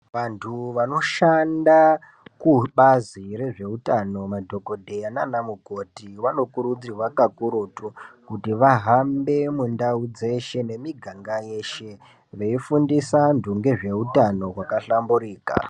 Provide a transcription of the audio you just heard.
Vanthu vanoshanda kubazi rezveutano, madhokodheya nana mukoti, vanokurudzirwa kakurutu, kuti vahambe mundau dzeshe nemiganga yeshe, veifundisa anthu ngezveutano hwakahlamburika.